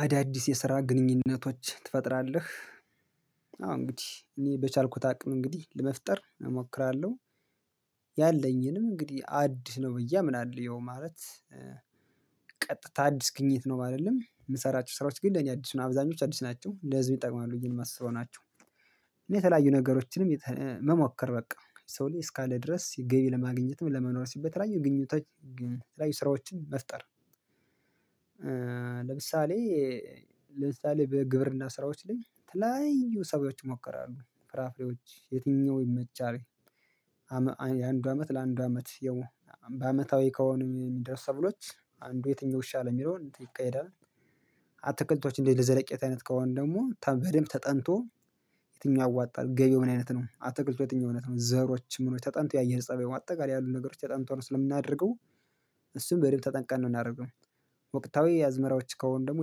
አዳዲስ የስራ ግንኙነቶች ትፈጥራለህ አዎ እንግዲህ እኔ በቻልኩት አቅም እንግዲህ ለመፍጠር እሞክራለሁ። ያለኝንም እንግዲህ አዲስ ነው ብዬ አምናለው ያው ማለት ቀጥታ አዲስ ግኝት ነው ማለት ነው። የምሰራቸው ስራዎች ግን ለኔ አዲስ ነው አብዛኞቹ አዲስ ናቸው እንደዚሁ ይጠቅማሉ ብዬ የማስበው ናቸው። እና የተለያዩ ነገሮችንም መሞከር በቃ ሰው ልጅ እስካለ ድረስ ሲገኝ ለማግኘትም ለመኖር ሲል በተለያዩ ግንኙነቶች ላይ ስራዎችን መፍጠር። ለምሳሌ ለምሳሌ በግብርና ስራዎች ላይ የተለያዩ ሰብሎች ይሞከራሉ ፍራፍሬዎች የትኛው ይመቻል? የአንዱ አመት ለአንዱ አመት ያው በአመታዊ ከሆነ የሚደርሱ ሰብሎች አንዱ የትኛው ይሻላል የሚለውን ይካሄዳል። አትክልቶች እንዴት ለዘለቄት አይነት ከሆኑ ደግሞ በደንብ ተጠንቶ። የትኛው ያዋጣል ገበያው ምን አይነት ነው አትክልቱ የትኛው አይነት ነው? ዘሮች ምኖች ተጠንተው የአየር ፀባዩ አጠቃላይ ያሉ ነገሮች ተጠንተው ስለምናደርገው። እሱን በደንብ ተጠንቅቀን ነው የምናደርገው። ወቅታዊ የአዝመራዎች ከሆኑ ደግሞ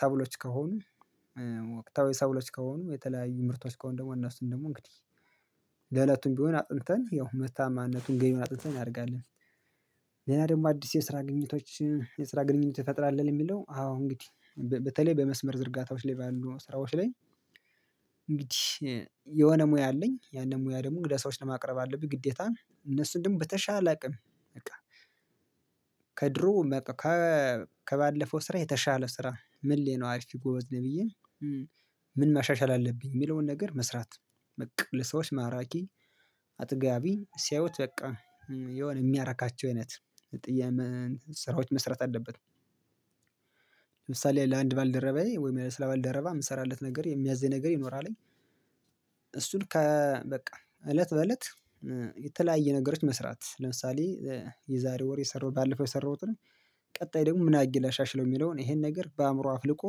ሰብሎች ከሆኑ። ወቅታዊ ሰብሎች ከሆኑ የተለያዩ ምርቶች ከሆኑ ደግሞ እነሱን ደግሞ እንግዲህ ለእለቱም ቢሆን አጥንተን ያው ምርታማነቱን ገቢውን አጥንተን ያድርጋል። ሌላ ደግሞ አዲስ የስራ ግኝቶች የስራ ግንኙነቶኝ እንፈጥራለን የሚለው አዎ እንግዲህ በተለይ በመስመር ዝርጋታዎች ላይ ባሉ ስራዎች ላይ። እንግዲህ የሆነ ሙያ አለኝ ያንን ሙያ ደግሞ እንግዲያ ለሰዎች ለማቅረብ አለብኝ ግዴታ እነሱን ደግሞ በተሻለ አቅም። በቃ በቃ ከባለፈው ስራ የተሻለ ስራ ምን ላይ ነው አሪፍ ጎበዝ ነው ብዬ ምን ማሻሻል አለብኝ የሚለውን ነገር መስራት። በቃ ለሰዎች ማራኪ አጥጋቢ ሲያዩት በቃ የሆነ የሚያረካቸው አይነት ስራዎች መስራት አለበት። ለምሳሌ ለአንድ ባልደረባዬ ወይም ስለ ባልደረባ የምሰራለት ነገር የሚያዘኝ ነገር ይኖራል። እሱን ከ በቃ እለት በእለት የተለያየ ነገሮች መስራት ለምሳሌ የዛሬ ወር የሰራሁት ባለፈው የሰራሁትን። ቀጣይ ደግሞ ምን አድርጌ ላሻሽለው የሚለውን ይሄን ነገር በአእምሮ አፍልቆ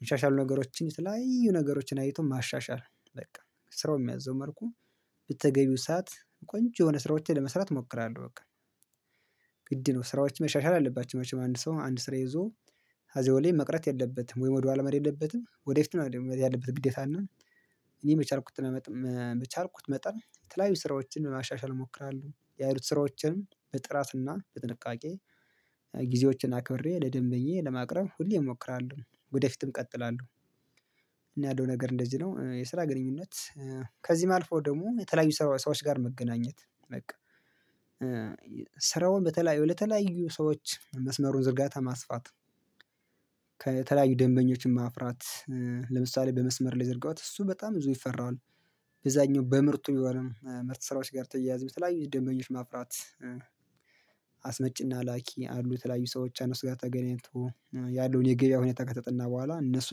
የተሻሻሉ ነገሮችን የተለያዩ ነገሮችን አይቶ ማሻሻል። በቃ ስራው የሚያዘው መልኩ በተገቢው ሰዓት ቆንጆ የሆነ ስራዎቼን ለመስራት እሞክራለሁ በቃ። ግድ ነው ስራዎች መሻሻል አለባቸው መቼም አንድ ሰው አንድ ስራ ይዞ አዚያው ላይ መቅረት የለበትም ወይም ወደ ኋላ መሄድ የለበትም ወደ ፊት ነው መሄድ ያለበት ግዴታ እና። እኔ በቻልኩት መጠን የተለያዩ ስራዎችን ለማሻሻል እሞክራለሁ ያሉት ስራዎቼንም በጥራትና በጥንቃቄ። ጊዜዎችን አክብሬ ለደንበኛዪ ለማቅረብ ሁሌም እሞክራለሁ ወደ ፊትም እቀጥላለሁ። እና ያለው ነገር እንደዚህ ነው የስራ ግንኙነት። ከዚህም አልፈው ደግሞ የተለያዩ ሰዎች ጋር መገናኘት በቃ ስራውን በተለያዩ ለተለያዩ ሰዎች መስመሩን ዝርጋታ ማስፋት። ከተለያዩ ደንበኞችን ማፍራት። ለምሳሌ በመስመር ላይ የዘረጋሁት እሱ በጣም ብዙ ይፈራዋል። በዚያኛው በምርቱ የሚሆነው ምርት ስራዎች ጋር ተያይዞ የተለያዩ ደንበኞች ማፍራት። አስመጪና ላኪ አሉ የተለያዩ ሰራዎች እነሱ ጋር ተገናኝቶ ያለውን የገበያውን ከተጠና በኋላ እነሱ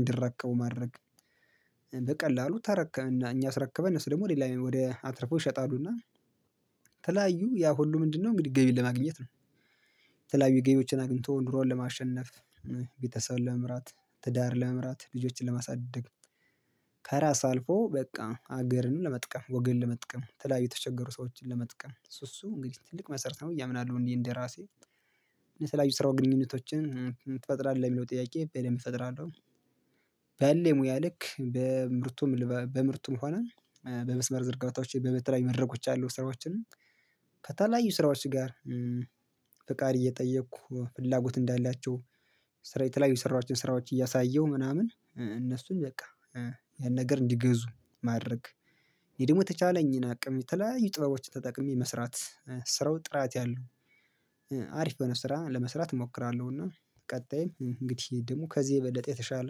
እንዲረከቡ ማድረግ። በቀላሉ ተረከብን እኛ አስረክበን እነሱ ደግሞ ሌላ ወደ አትርፈው ይሸጣሉና። የተለያዩ ያ ሁሉ ምንድን ነው እንግዲህ ገቢን ለማግኘት ነው። የተለያዩ ገቢዎችን አግኝቶ ኑሮን ለማሸነፍ ቤተሰብ ለመምራት ትዳር ለመምራት ልጆችን ለማሳደግ። ከራስ አልፎ በቃ ሀገርንም ለመጥቀም ወገን ለመጥቀም የተለያዩ የተቸገሩ ሰዎችን ለመጥቀም እሱ እሱ እንግዲህ ትልቅ መሰረት ነው ብዬ አምናለሁ እኔ እንደራሴ የተለያዩ የስራ ግንኙነቶችን። ትፈጥራለህ የሚለው ጥያቄ በደንብ እፈጥራለሁ። በእኔ ሙያ ልክ በምርቱም በምርቱም ሆነ በመስመር ዝርጋታዎች በተለያዩ መድረኮች ያሉ ስራዎችን። ከተለያዩ ስራዎች ጋር ፍቃድ እየጠየቅኩ ፍላጎት እንዳላቸው የተለያዩ ስራዎችን ስራዎች እያሳየሁ ምናምን እነሱም በቃ ያን ነገር እንዲገዙ ማድረግ። እኔ ደግሞ የተቻለኝን አቅም የተለያዩ ጥበቦችን ተጠቅሜ መስራት ስራው ጥራት ያለው አሪፍ የሆነ ስራ ለመስራት እሞክራለሁ። እና ቀጣይም እንግዲህ ደግሞ ከዚህ የበለጠ የተሻለ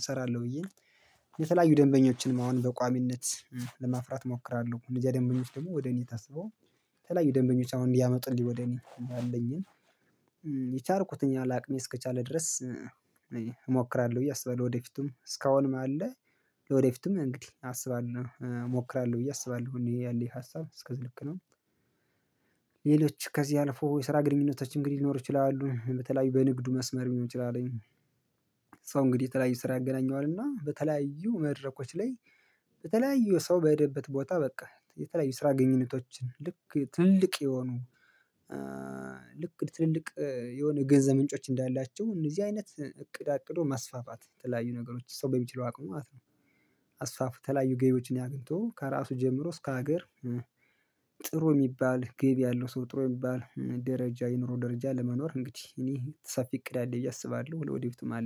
እሰራለሁ። ብዬ የተለያዩ ደንበኞችንም አሁን በቋሚነት ለማፍራት እሞክራለሁ። እነዚያ ደንበኞች ደግሞ ወደ እኔ ታስበው የተለያዩ ደንበኞች አሁን እንዲያመጡልኝ ወደ እኔ ያለኝን የቻልኩትኝ ያህል አቅሜ እስከቻለ ድረስ። እሞክራለሁ ብዬ አስባለሁ ወደ ፊቱም እስካሁን አለ ለወደፊቱም እንግዲህ አስባለሁ እሞክራለሁ ብዬ አስባለሁ እኔ ያለኝ ሀሳብ እስከዚህ ልክ ነው። ሌሎች ከዚህ አልፎ የስራ ግንኙነቶች እንግዲህ ሊኖሩ ይችላሉ በተለያዩ በንግዱ መስመር ሊሆን ይችላል። ሰው እንግዲህ የተለያዩ ስራ ያገናኘዋል እና በተለያዩ መድረኮች ላይ በተለያዩ ሰው በሄደበት ቦታ በቃ የተለያዩ ስራ ግንኙነቶች ልክ ትልልቅ የሆኑ። ልክ ትልልቅ የሆነ ገንዘብ ምንጮች እንዳላቸው እነዚህ አይነት እቅድ አቅዶ ማስፋፋት የተለያዩ ነገሮች ሰው በሚችለው አቅሙ ማለት ነው። አስፋፉ የተለያዩ ገቢዎችን አግኝቶ ከራሱ ጀምሮ እስከ ሀገር። ጥሩ የሚባል ገቢ ያለው ሰው ጥሩ የሚባል ደረጃ የኑሮ ደረጃ ለመኖር እንግዲህ እኔ ሰፊ እቅድ አለኝ ብዬ አስባለሁ ለወደፊቱም አለ